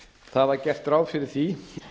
það var gert ráð fyrir því